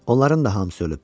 Onların da hamısı ölüb.